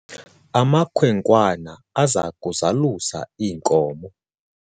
amakhwenkwana aza kuzalusa iinkomo